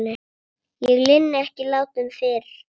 Ég linni ekki látum fyrr.